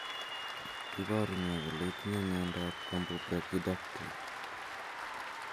Iporu ne kole itinye miondap Camptobrachydactyly?